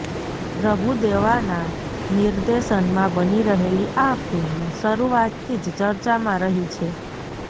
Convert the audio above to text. પ્રભુદેવાના નિર્દેશનમાં બની રહેલી આ ફિલ્મ શરૂઆતથી જ ચર્ચામાં રહી છે